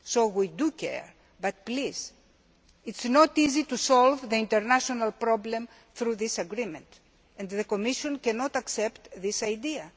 We do care, but please be aware that it is not easy to solve the international problem through this agreement, and the Commission cannot accept that idea.